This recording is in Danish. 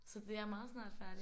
Så det er meget snart færdigt